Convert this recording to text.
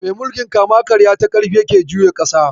Mai mulkin kama karya ta karfi yake juya ƙasa.